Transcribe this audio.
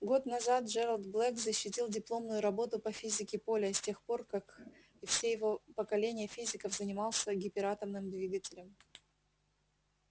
год назад джералд блэк защитил дипломную работу по физике поля и с тех пор как и все его поколения физиков занимался гиператомным двигателем